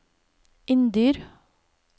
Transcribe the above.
Inndyr